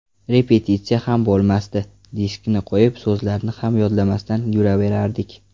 Repetitsiya ham bo‘lmasdi, diskni qo‘yib, so‘zlarni ham yodlamasdan yuraverardik.